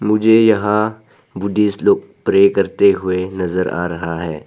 मुझे यहां बुद्धिस्ट लोग प्रे करते हुए नजर आ रहा है।